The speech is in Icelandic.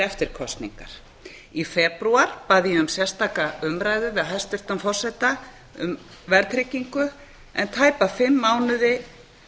eftir kosningar í febrúar bað ég um sérstaka umræðu við hæstvirtan forseta um verðtryggingu en tæpa fimm mánuði